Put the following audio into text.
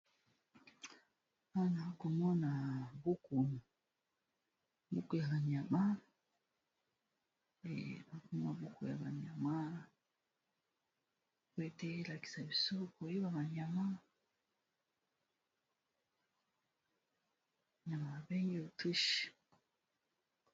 bana komona buku mbuku ya banyama ema buku ya banyama kwetelakisa biso koyiba banyama yama 2enge otwuch